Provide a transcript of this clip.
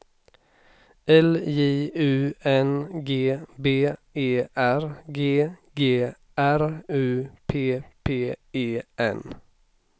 L J U N G B E R G G R U P P E N